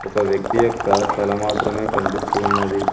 ఒక వ్యక్తి యొక్క తల మాత్రమే కనిపిస్తూ ఉన్నది.